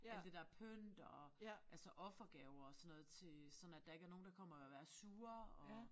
Alt det der pynt og altså offergaver og sådan noget til sådan at der ikke er nogen der kommer og være sure og